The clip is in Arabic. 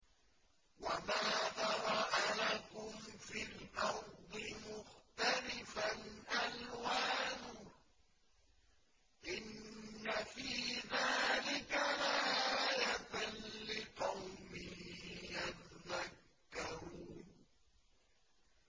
وَمَا ذَرَأَ لَكُمْ فِي الْأَرْضِ مُخْتَلِفًا أَلْوَانُهُ ۗ إِنَّ فِي ذَٰلِكَ لَآيَةً لِّقَوْمٍ يَذَّكَّرُونَ